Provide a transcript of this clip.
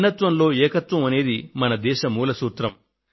భిన్నత్వంలో ఏకత్వం అనేది మన దేశ మూల సూత్రం